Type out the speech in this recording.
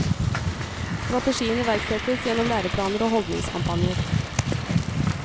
Strategien iverksettes gjennom læreplaner og holdningskampanjer.